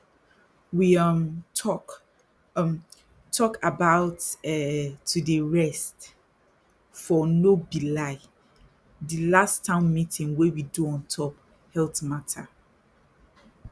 we um talk um talk about um to dey rest for no be lie di last town meeting wey we do ontop health matter